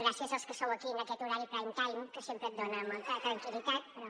gràcies als que sou aquí en aquest horari prime time que sempre et dona molta tranquil·litat lles) però